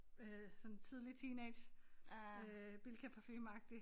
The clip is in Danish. Øh sådan tidlig teenage øh bilkaparfume agtig